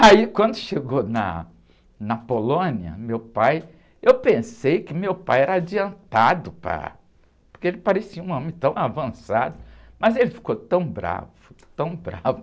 Aí, quando chegou na, na Polônia, o meu pai, eu pensei que meu pai era adiantado para, porque ele parecia um homem tão avançado, mas ele ficou tão bravo, tão bravo.